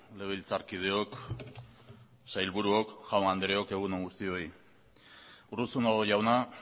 legebiltzarkideok sailburuok jaun andreok egun on guztioi urruzuno jauna